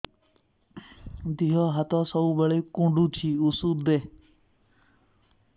ଦିହ ହାତ ସବୁବେଳେ କୁଣ୍ଡୁଚି ଉଷ୍ଧ ଦେ